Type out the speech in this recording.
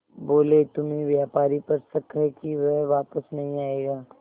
बोले तुम्हें व्यापारी पर शक है कि वह वापस नहीं आएगा